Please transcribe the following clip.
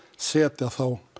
setja